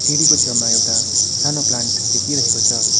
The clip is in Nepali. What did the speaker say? सिडीको छेउमा एउटा सानो प्लान्ट देखिरहेको छ।